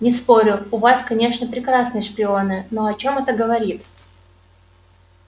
не спорю у вас конечно прекрасные шпионы но о чем это говорит